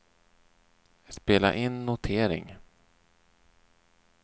spela in notering